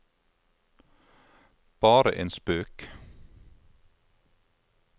bare en spøk